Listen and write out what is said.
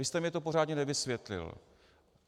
Vy jste mi to pořádně nevysvětlil.